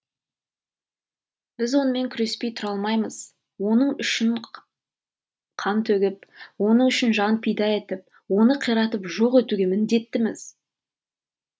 біз онымен күреспей тұра алмаймыз оның үшін қан төгіп оның үшін жан пида етіп оны қиратып жоқ етуге міндеттіміз